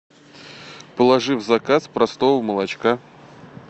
положи в заказ простого молочка